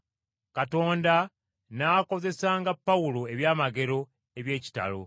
Katonda n’akozesanga Pawulo eby’amagero eby’ekitalo.